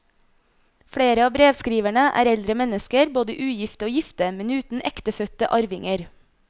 Flere av brevskriverne er eldre mennesker, både ugifte og gifte, men uten ektefødte arvinger.